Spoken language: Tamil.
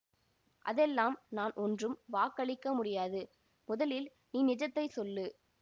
அதெல்லாம் நான் ஒன்றும் வாக்களிக்க முடியாது முதலில் நீ நிஜத்தை சொல்லு